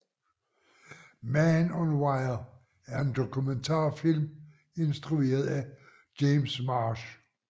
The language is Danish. Man on Wire er en dokumentarfilm instrueret af James Marsh